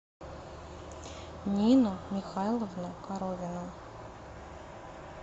нину михайловну коровину